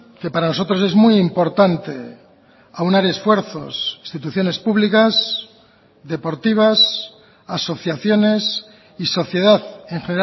que para nosotros es muy importante aunar esfuerzos instituciones públicas deportivas asociaciones y sociedad en